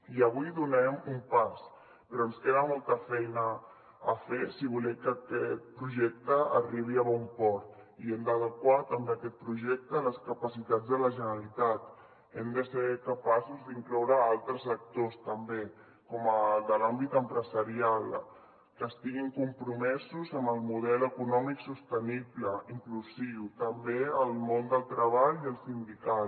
i avui donem un pas però ens queda molta feina a fer si volem que aquest projecte arribi a bon port i hem d’adequar també aquest projecte a les capacitats de la generalitat hem de ser capaços d’incloure altres actors també com el de l’àmbit empresarial que estiguin compromesos amb el model econòmic sostenible inclusiu també el món del treball i el sindical